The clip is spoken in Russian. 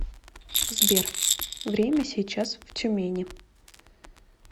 сбер время сейчас в тюмени